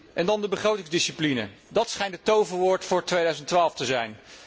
En dan de begrotingsdiscipline dat schijnt het toverwoord voor 2012 te zijn.